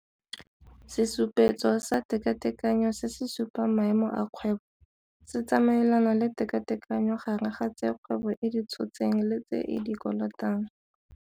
Sesupetso sa Tekatekanyo se se supang maemo a kgwebo. Se tsamaelana le tekatekanyo gare ga tse kgwebo e di tshotseng le tse e di kolotang.